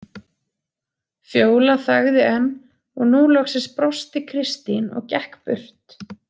Fjóla þagði enn og nú loksins brosti Kristín og gekk burt.